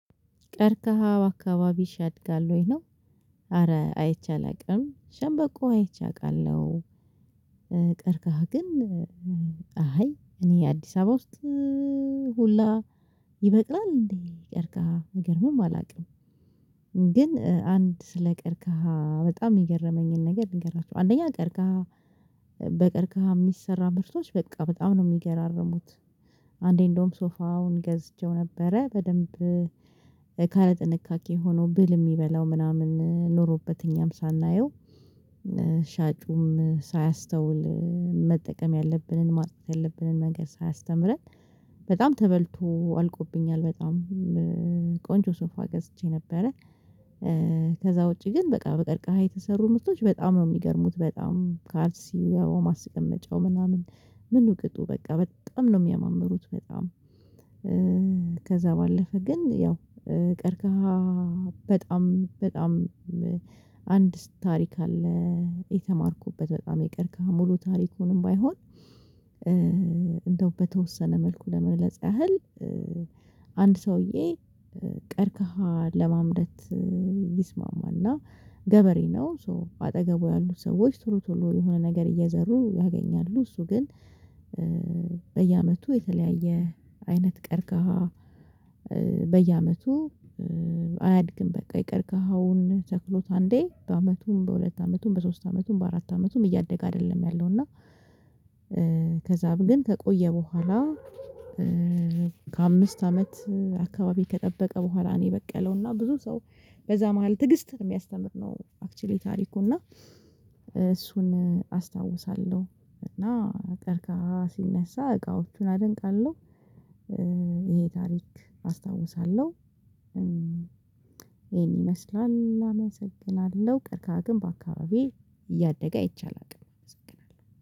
ቀርከሃ በአካባቢሽ ያድጋል ወይ ነው? አረ አይቼ አላቅም። ሸንበቆ አይቼ አቃለሁ። ቀርቀሃ ግን አይ እኔ አዲስ አበባ ውስጥ ሁላ ይበቅላል እንዴ ቀርቀሃ? አይገርምም አላቅም። ግን አንድ ስለቀርቀሃ በጣም የገረመኝን ነገር ልንገራችሁ። አንደኛ ቀርከሃ በቀርከሃ የሚሰራ ምርቶች በቃ በጣም ነው የሚገራርሙት አንዴ እንደውም ሶፋውን ገዝችው ነበረ በደንብ ካለ ጥንቃቄ ሆኖ ብል የሚበላው ምናምን ኖሮበት እኛም ሳናየው ሻጩም ሳያስተውል መጠቀም ያለብንን ማለት ያለብንን ነገር ሳያስተምረን በጣም ተበልቶ አልቆብኛል በጣም ቆንጆ ሶፋ ገዝቼ ነበረ ከዛ ውጪ ግን በቃ በቀርቃሃ የተሰሩ ምስቶች በጣም ነው የሚገርሙት። በጣም ካልሲው ያው ማስቀመጫው ምናምን ምን ቅጡ በቃ በጣም ነው የሚያማምሩት። በጣም! ከዛ ባለፈ ግን ያው ቀርከሃ በጣም በጣም አንድ ታሪክ አለ የተማርኩበት በጣም የቀርቀሃ ሙሉ ታሪኩንም ባይሆን እንደው በተወሰነ መልኩ ለመግለጽ ያህል አንድ ሰውዬ ቀርከሃ ለማምረት ይስማማና ገበሬ ነው ሶ በአጠገቡ ያሉት ሰዎች ቶሎ ቶሎ የሆነ ነገር እየዘሩ ያገኛሉ እሱ ግን በየአመቱ የተለያየ አይነት ቀርከሃ በየአመቱ አያድግም በቃ የቀርከሃውን ተክሎት አንዴ በአመቱም በሁለት አመቱም በሶስት አመቱም በአራት አመቱም እያደገ አይደለም ያለው እና ከዛም ግን ከቆየ በኋላ ከአምስት አመት አካባቢ ከጠበቀ በኋላ ነው የበቀለውና ብዙ ሰው በዛ መሃል ትዕግስት የሚያስተምር ነው አክችሊ ታሪኩ እና እሱን አስታውሳለሁ እና ቀርቀሃ ሲነሳ እቃዎቹን አደንቃለሁ። ይሄ ታሪክ አስታውሳለሁ። ይሄን ይመስላል አመሰግናለሁ። ቀርቀሃ ግን በአካባቢዬ እያደገ አይቼ አላቅም አመሰግናለሁ።